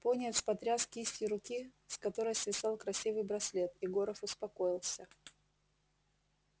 пониетс потряс кистью руки с которой свисал красивый браслет и горов успокоился